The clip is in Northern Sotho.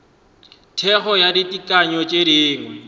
thekgo go ditekanyo tše dingwe